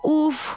Uff!